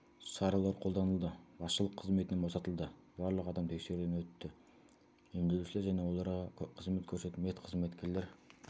шаралар қолданылды басшылық қызметінен босатылды барлық адам тексеруден өтті емделушілер және оларға қызмет көрсететін медқызметкерлер